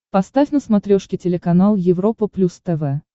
поставь на смотрешке телеканал европа плюс тв